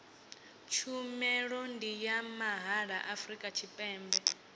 tshumelo ndi ya mahala afrika tshipembe